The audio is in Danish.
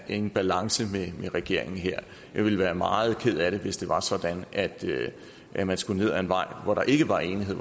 en balance med regeringen her jeg ville være meget ked af det hvis det var sådan at at man skulle ned ad en vej hvor der ikke var enighed